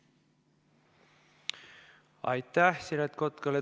Aitäh Siret Kotkale!